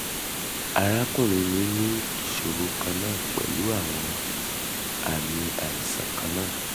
arakunrin mi ni iṣoro kanna pẹlu awọn aami aisan kanna